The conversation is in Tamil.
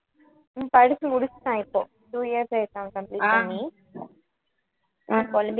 உம் படிச்சு முடிச்சுட்டான் இப்போ two years ஆயிடுச்சு அவன் complete பண்ணி புலம்பிகிட்~